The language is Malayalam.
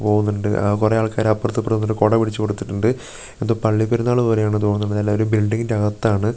പോന്നണ്ട് ആ കുറേ ആൾക്കാര് അപ്പർത്തും ഇപ്പർത്തും കൊട പിടിച്ച് കൊടുത്തിട്ടുണ്ട് എന്തോ പള്ളി പെരുന്നാള് പോലെയാണ് തോന്നണത് എല്ലാം ഒരു ബിൽഡിംഗിന്റെ അകത്താണ് ഒരി ഇരു --